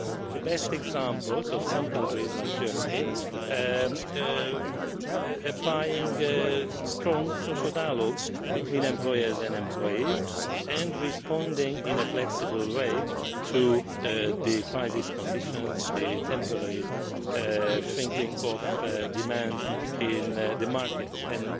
AGS. The best example is of some countries, like Germany, applying strong social dialogue between employers and employees and responding in a flexible way to the crisis and the temporary shrinking of demand in the markets,